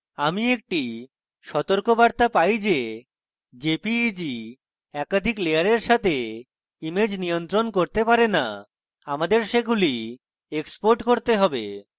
আমি একটি সতর্কবার্তা পাই যে jpeg একাধিক layers সাথে ইমেজ নিয়ন্ত্রণ করতে পারে না আমাদের সেগুলি export করতে have